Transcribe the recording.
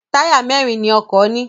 Táyà mẹ́rin ni ọkọ̀ ní.